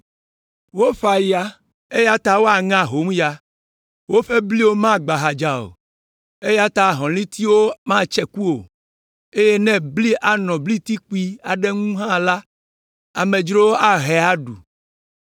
“Woƒã ya, eya ta woaŋe ahomya. Woƒe bliwo magbã ahadza o, eya ta ahɔ̃litiwo matse ku o, eye ne bli anɔ blitikpui aɖewo ŋu hã la, amedzrowo ahae aɖu.